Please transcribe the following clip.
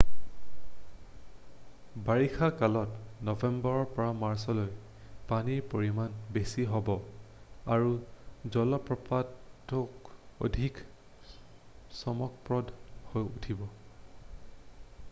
বাৰিষা কালত নৱেম্বৰৰ পৰা মাৰ্চলৈও পানীৰ পৰিমাণ বেছি হ'ব আৰু জলপ্ৰপাতটোও অধিক চমকপ্ৰদ হৈ উঠিব।